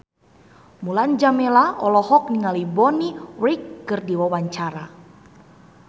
Mulan Jameela olohok ningali Bonnie Wright keur diwawancara